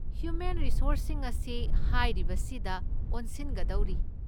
Human ꯔꯤꯁꯣꯔꯁꯁꯤꯡ ꯑꯁꯤ ꯍꯥꯏꯔꯤꯕꯁꯤꯗ ꯑꯣꯟꯁꯤꯟꯒꯗꯧꯔꯤ꯫